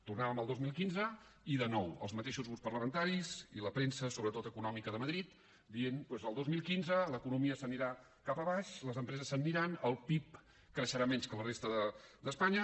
tornàvem el dos mil quinze i de nou els mateixos grups parlamentaris i la premsa sobretot econòmica de madrid que deia doncs el dos mil quinze l’economia anirà cap avall les empreses se n’aniran el pib creixerà menys que a la resta d’espanya